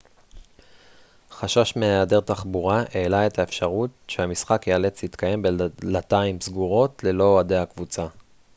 חשש מהיעדר תחבורה העלה את האפשרות שהמשחק ייאלץ להתקיים בדלתיים סגורות ללא אוהדי הקבוצה